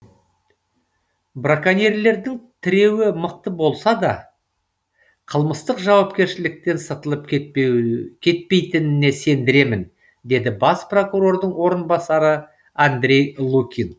браконьерлердің тіреуі мықты болса да қылмыстық жауапкершіліктен сытылып кетпейтініне сендіремін деді бас прокурордың орынбасары андрей лукин